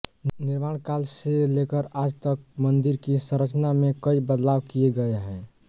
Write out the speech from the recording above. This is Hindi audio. निर्माण काल से लेकर आज तक मंदिर की संरचना में कई बदलाव किये गये हैं